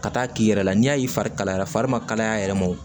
Ka taa k'i yɛrɛ la n'i y'a ye fari kalayara fari ma kalaya a yɛrɛ ma wo